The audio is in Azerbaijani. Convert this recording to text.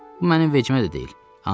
Bu mənim vecimə də deyil.